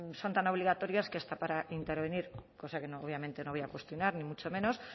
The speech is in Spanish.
son tan obligatorios que hasta para intervenir cosa que obviamente no voy a cuestionar ni mucho menos